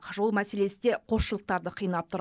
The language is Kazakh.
жол мәселесі де қосшылықтарды қинап тұр